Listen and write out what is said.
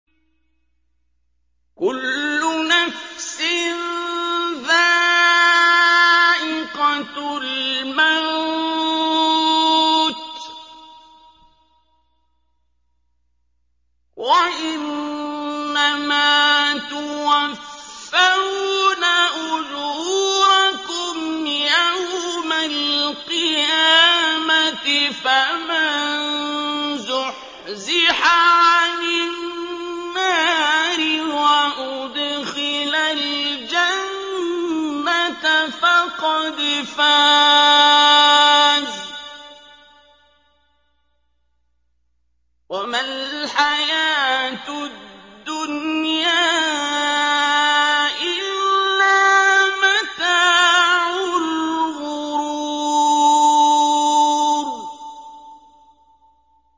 كُلُّ نَفْسٍ ذَائِقَةُ الْمَوْتِ ۗ وَإِنَّمَا تُوَفَّوْنَ أُجُورَكُمْ يَوْمَ الْقِيَامَةِ ۖ فَمَن زُحْزِحَ عَنِ النَّارِ وَأُدْخِلَ الْجَنَّةَ فَقَدْ فَازَ ۗ وَمَا الْحَيَاةُ الدُّنْيَا إِلَّا مَتَاعُ الْغُرُورِ